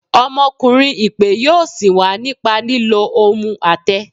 Ọmọkunrin ipe yọọ sin wa nípa lilo ohún atẹ.